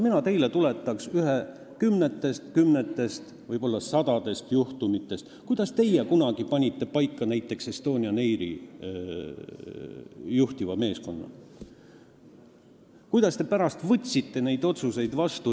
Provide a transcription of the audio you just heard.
Mina tuletan teile meelde ühe kümnetest, aga võib-olla sadadest juhtumitest, näiteks selle, kuidas teie kunagi panite paika Estonian Airi juhtivat meeskonda ja kuidas te võtsite neid otsuseid vastu.